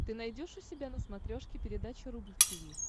ты найдешь у себя на смотрешке передачу рубль ти ви